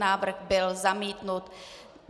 Návrh byl zamítnut.